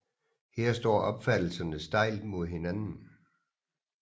Her står opfattelserne stejlt mod hinanden